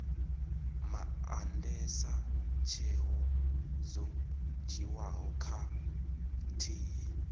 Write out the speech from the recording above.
maandesa tsheo dzo dzhiiwaho khathihi